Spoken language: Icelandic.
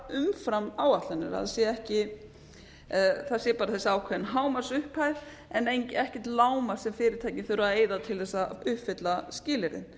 umfram áætlanir að það sé ekki bara þessi hámarksupphæð en ekkert lágmark sem fyrirtækin þurfa að eyða til þess að uppfylla skilyrðin